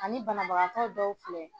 Ani banabagatɔ dɔw filɛ